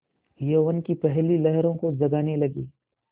यौवन की पहली लहरों को जगाने लगी